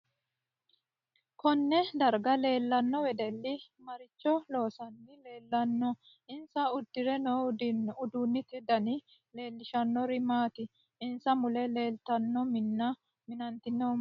KOnne darga leelanno wedeli maricho loosani leelanno insa uddire noo uddanote dani leelishanori maati insa mule leeltanno minna minantinohu mayiiniti